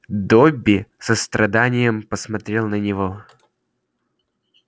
добби с состраданием посмотрел на него